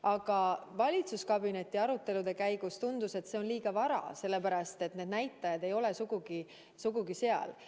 Aga valitsuskabineti arutelude käigus tundus, et see on liiga vara, sellepärast et näitajad ei ole sugugi head.